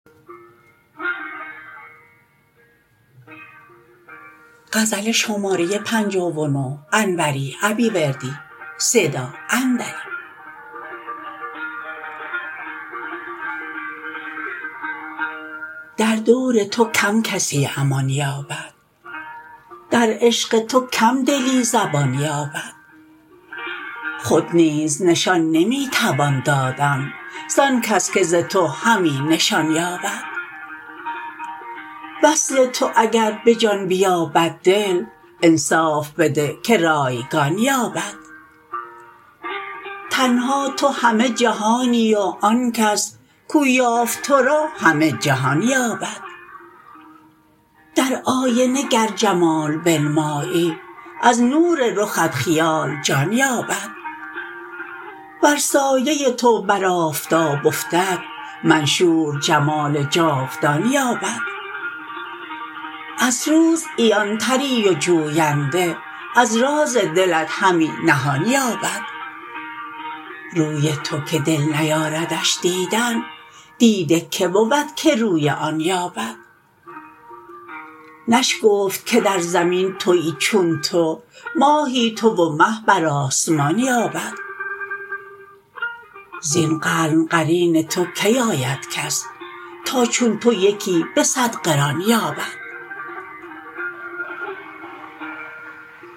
در دور تو کم کسی امان یابد در عشق تو کم دلی زبان یابد خود نیز نشان نمی توان دادن زان کس که ز تو همی نشان یابد وصل تو اگر به جان بیابد دل انصاف بده که رایگان یابد تنها تو همه جهانی و آن کس کو یافت ترا همه جهان یابد در آینه گر جمال بنمایی از نور رخت خیال جان یابد ور سایه تو بر آفتاب افتد منشور جمال جاودان یابد از روز عیان تری و جوینده از راز دلت همی نهان یابد روی تو که دل نیاردش دیدن دیده که بود که روی آن یابد نشگفت که در زمین تویی چون تو ماهی تو و مه بر آسمان یابد زین قرن قرین تو کی آید کس تا چون تو یکی به صد قران یابد